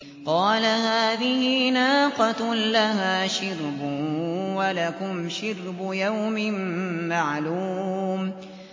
قَالَ هَٰذِهِ نَاقَةٌ لَّهَا شِرْبٌ وَلَكُمْ شِرْبُ يَوْمٍ مَّعْلُومٍ